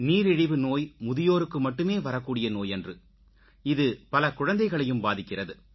நீரிழிவு நோய் முதியோருக்கு மட்டுமே வரக்கூடிய நோயன்று இது பல குழந்தைகளையும் பாதிக்கிறது